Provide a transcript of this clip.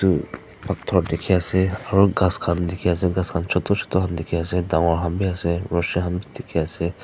phator dikhiase aro ghas khan dikhiase ghas khan chuto chuto han dikhiase dangor khan biase rushi han bi dikhiase.